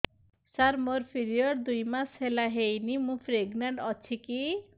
ସାର ମୋର ପିରୀଅଡ଼ସ ଦୁଇ ମାସ ହେଲା ହେଇନି ମୁ ପ୍ରେଗନାଂଟ ଅଛି କି